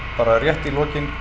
bara rétt í lokin